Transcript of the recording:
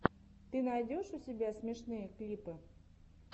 ты найдешь у себя смешные клипы